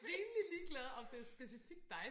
Rimelig ligeglad om det specifikt dig